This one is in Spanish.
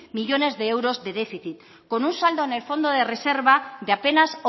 millónes de euros de déficit con un saldo en el fondo de reserva de apenas